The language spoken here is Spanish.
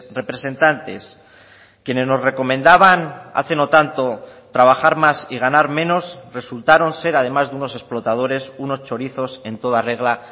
representantes quienes nos recomendaban hace no tanto trabajar más y ganar menos resultaron ser además de unos explotadores unos chorizos en toda regla